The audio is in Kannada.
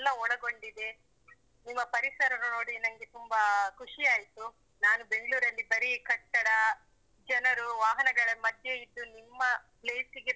ಒಳಗೊಂಡಿದೆ. ನಿಮ್ಮ ಪರಿಸರನ್ನು ನೋಡಿ ನಂಗೆ ತುಂಬಾ ಖುಷಿ ಆಯ್ತು. ನಾನು ಬೆಂಗ್ಳೂರಲ್ಲಿ ಬರೀ ಕಟ್ಟಡ, ಜನರು ವಾಹನಗಳ ಮಧ್ಯೆ ಇದ್ದು ನಿಮ್ಮ place ಗೆ.